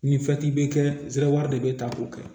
Ni bɛ kɛ zawan de bɛ ta o kɛ